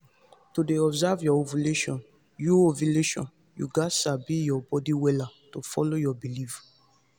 to dey observe your ovulation you ovulation you gats sabi your body wella to follow your beliefs